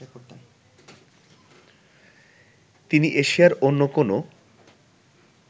তিনি এশিয়ার অন্য কোনো